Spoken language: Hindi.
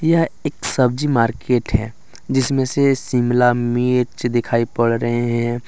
यह एक सब्जी मार्केट है जिसमें से शिमला मिर्च दिखाई पड़ रहे हैं।